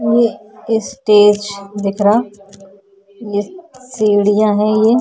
ये स्टेज दिख रा । ये सीढ़ियाँ हैं ये।